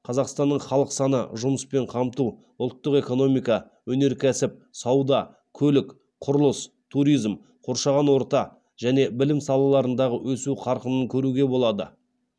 қазақстанның халық саны жұмыспен қамту ұлттық экономика өнеркәсіп сауда көлік құрылыс туризм қоршаған орта және білім салаларындағы өсу қарқынын көруге болады